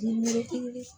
Denmusonin